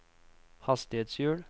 hastighetshjul